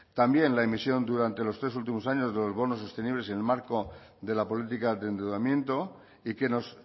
también la emisión durante los tres últimos años de los bonos sostenibles en el marco de la política de endeudamiento y que nos